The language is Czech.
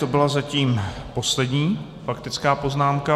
To byla zatím poslední faktická poznámka.